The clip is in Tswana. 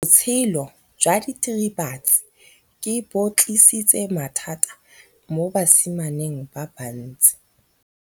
Botshelo jwa diritibatsi ke bo tlisitse mathata mo basimaneng ba bantsi.